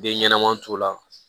Den ɲɛnɛman t'u la